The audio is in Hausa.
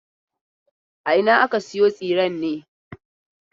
A ina aka sayo tsiren ne?